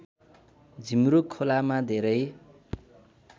झिमरुक खोलामा धेरै